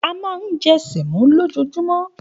A máa ń jẹ́ sẹ̀mí lójoojúmọ́